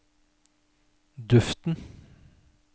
duften